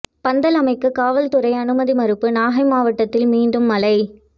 பந்தல் அமைக்க காவல்துறை அனுமதி மறுப்பு நாகை மாவட்டத்தில் மீண்டும் மழை